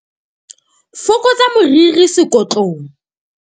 Fokotsa moriri sekotlong.